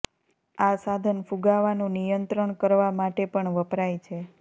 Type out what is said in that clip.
આ સાધન ફુગાવાનું નિણંત્રણ કરવા માટે પણ વપરાય છે